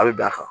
A bɛ bɛn a kan